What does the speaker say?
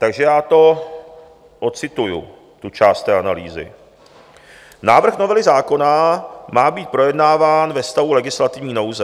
Takže já to odcituji, tu část té analýzy: Návrh novely zákona má být projednáván ve stavu legislativní nouze.